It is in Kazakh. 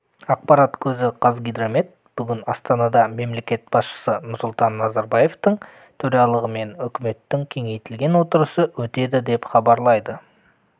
ақпарат көзі қазгидромет бүгін астанада мемлекет басшысы нұрсұлтан назарбаевтың төрағалығымен үкіметінің кеңейтілген отырысы өтеді деп хабарлайды